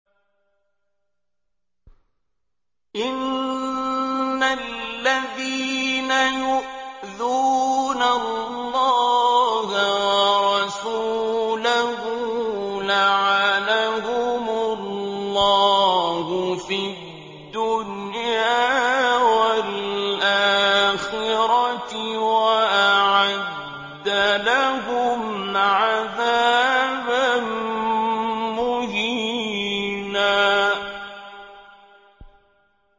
إِنَّ الَّذِينَ يُؤْذُونَ اللَّهَ وَرَسُولَهُ لَعَنَهُمُ اللَّهُ فِي الدُّنْيَا وَالْآخِرَةِ وَأَعَدَّ لَهُمْ عَذَابًا مُّهِينًا